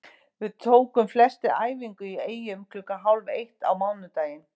Við tókum flestir æfingu í Eyjum klukkan hálf eitt á mánudaginn.